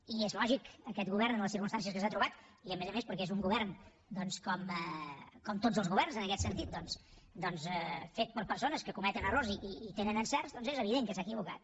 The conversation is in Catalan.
i és lògic aquest govern en les circumstàncies en què s’ha trobat i a més a més perquè és un govern com tots els governs en aquest sentit fet per persones que cometen errors i tenen encerts doncs és evident que s’ha equivocat